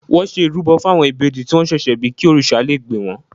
Wọ́n ṣe ìrúbọ fún àwọn ìbejì tí wọ́n ṣẹ̀ṣẹ̀ bí kí òrìṣà lé gbè wọ́n.